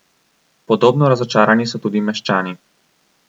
Podobno razočarani so tudi meščani.